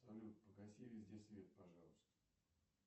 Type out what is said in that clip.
салют погаси везде свет пожалуйста